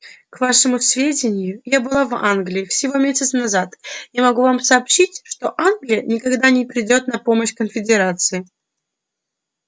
к вашему сведению я была в англии всего месяц назад и могу вам сообщить что англия никогда не придёт на помощь конфедерации